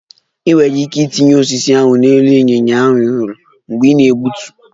Ị nwere ike itinye osisi ahụ n'elu ịnyịnya a hụrụ mgbe ị na-egbutu